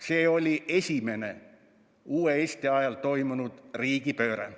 See oli esimene uue Eesti ajal toimunud riigipööre.